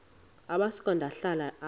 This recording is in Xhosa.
amasuka ndihlala ale